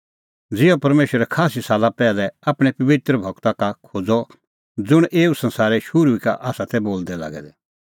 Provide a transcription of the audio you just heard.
ज़िहअ परमेशरै खास्सी साला पैहलै आपणैं पबित्र गूरा का खोज़अ ज़ुंण एऊ संसारे शुरू ई का आसा तै बोलदै लागै दै